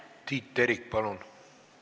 Tiit Terik, palun!